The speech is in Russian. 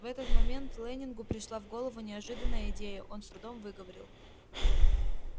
в этот момент лэннингу пришла в голову неожиданная идея он с трудом выговорил